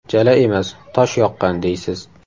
Jala emas, tosh yoqqan deysiz.